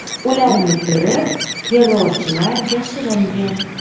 Ularni ko‘rib, terrorchilar yashiringan.